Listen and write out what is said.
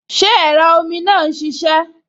Ṣé ẹ̀rọ omi náà n ṣiṣẹ́?